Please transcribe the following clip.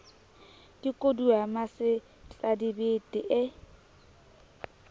ke kodua ya masetladibete ee